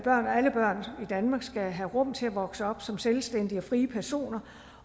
alle børn i danmark skal have rum til at vokse op som selvstændige og frie personer